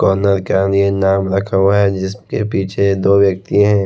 Corner का ये नाम रखा हुआ है जिसके पीछे दो व्यक्ति हैं।